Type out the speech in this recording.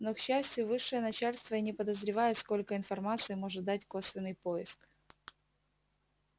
но к счастью высшее начальство и не подозревает сколько информации может дать косвенный поиск